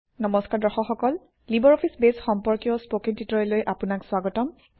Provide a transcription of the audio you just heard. নম্সকাৰ দৰ্শক সকল LibreOffice Base সম্পৰ্কীয় স্পকেন ট্যুটৰিয়েললৈ আপোনাক স্বাগতম